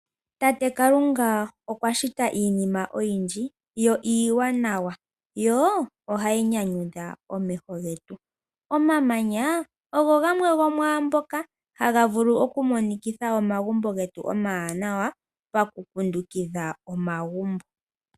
Tate Kalunga okwa shita iinima oyindji, iiwanawa, yo ohayi nyanyudha omeho getu. Omamanya ogamwe gomwaambyoka hayi vulu okumonikitha omagumbo getu nawa pakukundukidha omagumbo.